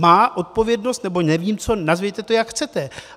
Má odpovědnost nebo nevím co, nazvěte to, jak chcete.